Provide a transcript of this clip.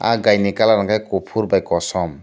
ah gai ni kalar hingke kopor bai kosom.